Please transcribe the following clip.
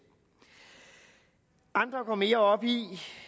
andre går mere op i